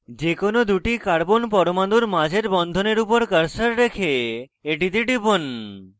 যে কোনো দুটি carbon পরমাণুর মাঝের বন্ধনের উপর cursor রেখে এটিতে টিপুন